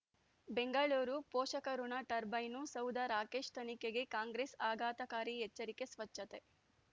ಬೆಂಗಳೂರು ಪೋಷಕರಋಣ ಟರ್ಬೈನು ಸೌಧ ರಾಕೇಶ್ ತನಿಖೆಗೆ ಕಾಂಗ್ರೆಸ್ ಆಘಾತಕಾರಿ ಎಚ್ಚರಿಕೆ ಸ್ವಚ್ಛತೆ